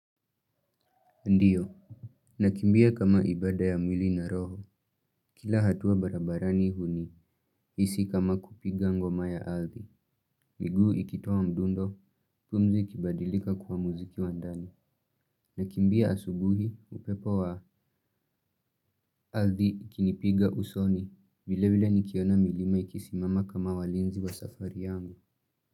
Ndiyo. Nakimbia kama ibada ya mwili na roho. Kila hatua barabarani huni isi kama kupiga ngoma ya ardhi. Miguu ikitoa mdundo pumzi ikibadilika kuwa muziki wa ndani. Nakimbia asubuhi upepo wa ardhi ikinipiga usoni vilevile nikiona milima ikisimama kama walinzi wa safari yangu.